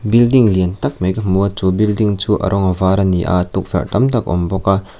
building lian tâk mai ka hmu a chu building chu a rawng a var ani a tukverh tam tak awm bawk a.